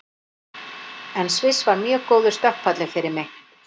En Sviss var mjög góður stökkpallur fyrir mig.